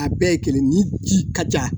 A bɛɛ ye kelen ni ji ka ca